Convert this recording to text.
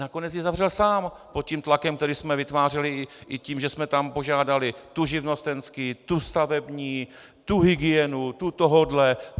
Nakonec ji zavřel sám pod tím tlakem, který jsme vytvářeli i tím, že jsme tam požádali tu živnostenský, tu stavební, tu hygienu, tu tohohle.